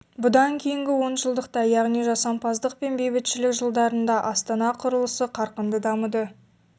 бұдан кейінгі онжылдықта яғни жасампаздық пен бейбітшілік жылдарында астана құрылысы қарқынды дамыды